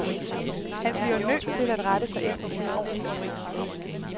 Han bliver nødt til at rette sig efter hendes ordrer.